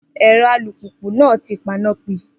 Ero alùpùpù naa ti pan-na pi